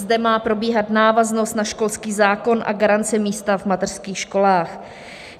Zde má probíhat návaznost na školský zákon a garance místa v mateřských školách.